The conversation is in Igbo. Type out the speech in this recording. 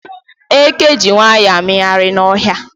Eke ji nwayọọ amịgharị n'ọhịa.